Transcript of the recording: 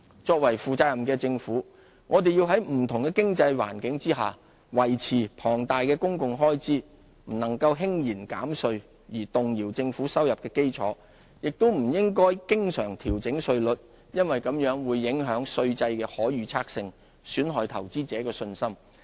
作為負責任的政府，我們要在不同的經濟環境下維持龐大的公共開支，不能輕言減稅而動搖政府收入的基礎；亦不應經常調整稅率，因為這會影響稅制的可預測性，損害投資者的信心。